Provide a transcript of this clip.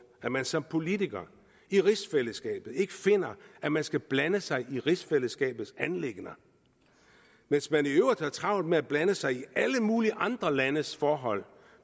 at man som politiker i rigsfællesskabet ikke finder at man skal blande sig i rigsfællesskabets anliggender mens man i øvrigt har travlt med at blande sig i alle mulige andre landes forhold